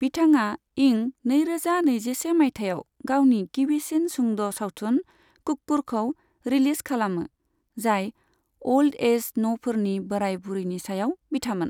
बिथाङा इं नैरोजा नैजिसे माइथायाव गावनि गिबिसिन सुंद' सावथुन कुक्कुरखौ रिलिज खालामो, जाय अ'ल्ड एज न'फोरनि बोराय बुरैनि सायाव बिथामोन।